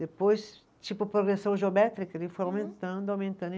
Depois, tipo progressão geométrica, ele foi aumentando, aumentando.